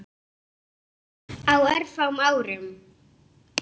Á örfáum árum.